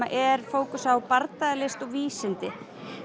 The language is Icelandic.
er fókusinn á bardagalist og vísindi